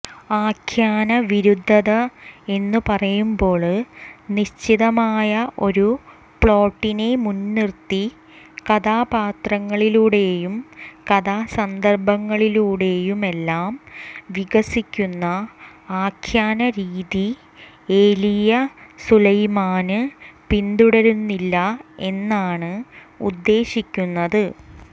ആഖ്യാനവിരുദ്ധത എന്നുപറയുമ്പോള് നിശ്ചിതമായ ഒരു പ്ലോട്ടിനെ മുന്നിര്ത്തി കഥാപാത്രങ്ങളിലൂടെയും കഥാസന്ദര്ഭങ്ങളിലൂടെയുമെല്ലാം വികസിക്കുന്ന ആഖ്യാനരീതി ഏലിയാ സുലൈമാന് പിന്തുടരുന്നില്ല എന്നാണ് ഉദ്ദേശിക്കുന്നത്